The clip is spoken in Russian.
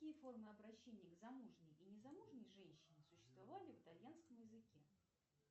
какие формы обращения к замужней и незамужней женщине существовали в итальянском языке